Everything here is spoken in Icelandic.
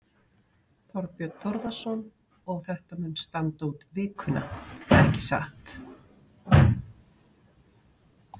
Þorbjörn Þórðarson: Og þetta mun standa út vikuna, ekki satt?